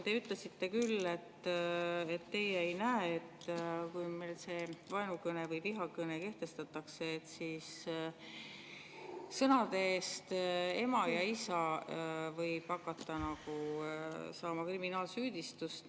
Te ütlesite küll, et teie ei näe seda, et kui meil see vaenukõne või vihakõne kehtestatakse, siis sõnade "ema" ja "isa" eest võib hakata saama kriminaalsüüdistust.